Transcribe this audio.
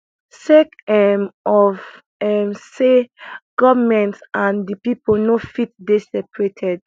sake um of um say govment and di pipo no fit dey separated